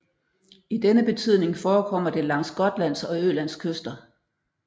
I denne betydning forekommer det langs Gotlands og Ølands kyster